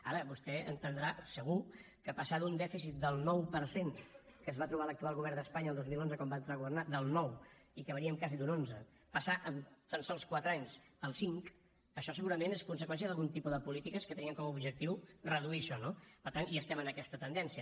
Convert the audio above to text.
ara vostè entendrà segur que passar d’un dèficit del nou per cent que es va trobar l’actual govern d’espanya el dos mil onze quan va entrar a governar del nou i que veníem quasi d’un onze passar en tan sols quatre anys al cinc això segurament és conseqüència d’algun tipus de polítiques que tenien com a objectiu reduir això no per tant hi estem en aquesta tendència